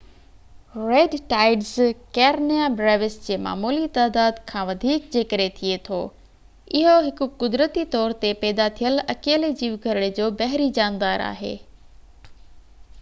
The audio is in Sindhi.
ريڊ ٽائيڊز ڪيرينيا بريوس جي معمولي تعداد کان وڌيڪ جي ڪري ٿئي ٿو اهو هڪ قدرتي طور تي پيدا ٿيل اڪيلي جيوگهرڙي جو بحري جاندار آهي